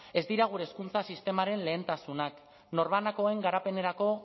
ez dira gure hezkuntza sistemaren lehentasunak norbanakoen garapenerako